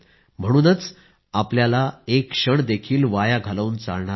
म्हणूनच आपल्याला एक क्षणही वाया घालवून चालणार नाही